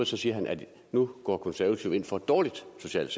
så siger han at nu går konservative ind for et dårligt socialt